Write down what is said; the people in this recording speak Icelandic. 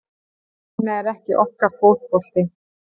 Þannig er ekki okkar fótbolti